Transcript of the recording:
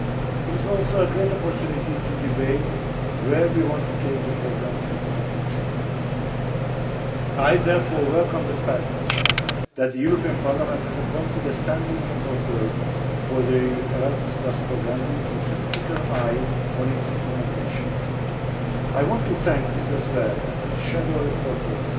It is also a greater opportunity to debate where we want to take the programme in the future. I therefore welcome the fact that the European Parliament has appointed a standing rapporteur for the Erasmus Programme who keeps a critical eye on its implementation. I want to thank Mr Sver and his shadow rapporteurs